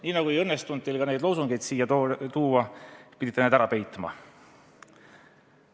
Nii nagu ei õnnestunud teil neid loosungeid siia tuua, pidite need ära peitma.